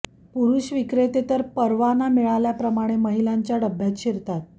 पुरुष विक्रेते तर परवाना मिळाल्याप्रमाणे महिलांच्या डब्यात शिरतात